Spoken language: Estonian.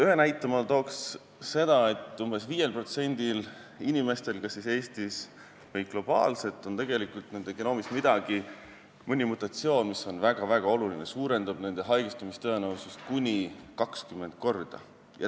Ühe näitena ma tooks seda, et umbes 5% inimestel kas Eestis või globaalselt on tegelikult genoomis midagi, mõni mutatsioon, mis suurendab nende haigestumise tõenäosust kuni 20 korda.